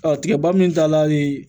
Ɔ tigɛba min tala le